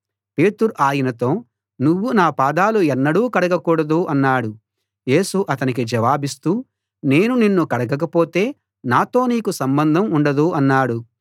పేతురు ఆయనతో నువ్వు నా పాదాలు ఎన్నడూ కడగకూడదు అన్నాడు యేసు అతనికి జవాబిస్తూ నేను నిన్ను కడగకపోతే నాతో నీకు సంబంధం ఉండదు అన్నాడు